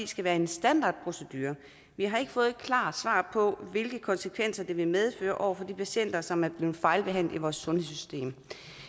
skal være en standardprocedure vi har ikke fået et klart svar på hvilke konsekvenser det vil medføre over for de patienter som er blevet fejlbehandlet i vores sundhedssystem